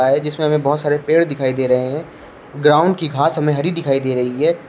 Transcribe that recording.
है जिसमें हमें बहुत सारे पेड़ दिखाई दे रहे हैं ग्राउंड की घास हमें हरी दिखाई दे रही है।